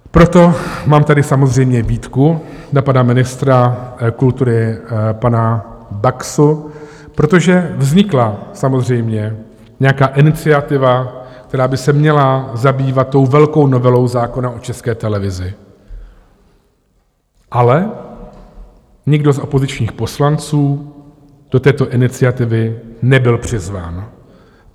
Proto mám tady samozřejmě výtku na pana ministra kultury, pana Baxu, protože vznikla samozřejmě nějaká iniciativa, která by se měla zabývat tou velkou novelou zákona o České televizi, ale nikdo z opozičních poslanců do této iniciativy nebyl přizván.